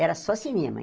Era só cinema aí.